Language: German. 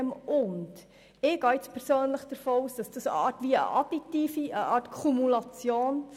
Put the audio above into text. Ich gehe davon aus, dass das additiv gemeint ist als eine Art Kumulation.